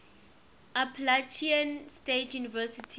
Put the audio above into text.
appalachian state university